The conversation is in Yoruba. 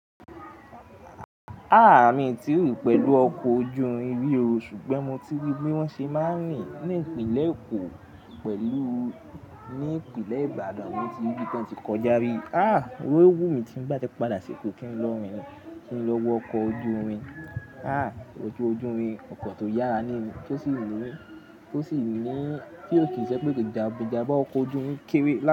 Ah! Mii tí rin pẹ̀lú ọkọ̀ ojú irin ri o, ṣùgbọ́n mo ti ríi bi won ṣe máa ń rìn ní ìpínlẹ̀ Èkó pẹ̀lú ní ìpínlẹ̀ Ibadan. Mo ti rí bí ti wọ́n ti kọjá rí. Ah! Oun lowú mi ti ń bá ti padà s'eko kí n lọ wọ ọkọ̀ ojú irin. A! Ọkọ̀ ojú irin, ọkọ̀ tó yára ní, tó sì wù mí, tó sì ní kí ó kì í ṣẹ pé ìjànbá ọkọ̀ ojú irin kéré.